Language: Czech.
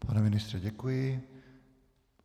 Pane ministře, děkuji.